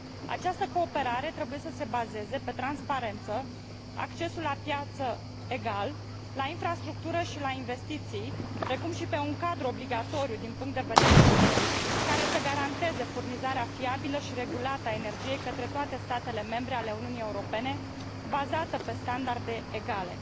Această cooperare trebuie să se bazeze pe transparență, accesul egal la piață, la infrastructură și la investiții, precum și pe un cadru obligatoriu din punct de vedere juridic, care să garanteze furnizarea fiabilă și regulată a energiei către toate statele membre ale Uniunii Europene, bazată pe standarde egale.